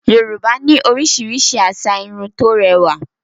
Yorùbá ní oríṣiríṣi asà Irun tó rẹwà